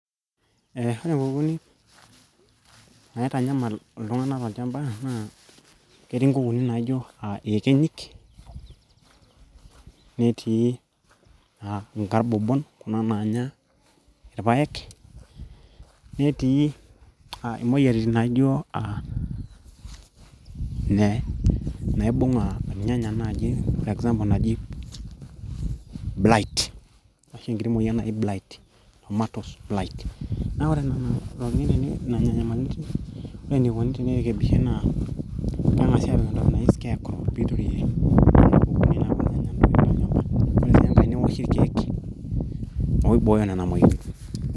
eh, ore inkukunik naitanyamal iltung'anak tolchamba naa ketii inkukunik naijo iyekenyik netii uh, inkarbobon kuna naanya irpayek netii imoyiariti n naijo ne naibung irnyanya naaji example naji blite ashu enkiti moyian naji blite ashu tomatoes blite naa ore nena tokitin na ore nena nyamalitin ore enikoni tenirekebishae naa keng'asi apik entoki naji scarecrow piiture nena kukunik naaponu anya intokitin tolchamba ore sii enkae newoshi irkeek oibooyo nena moyiaritin.